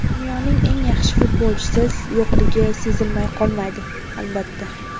Dunyoning eng yaxshi futbolchisi yo‘qligi sezilmay qolmaydi, albatta.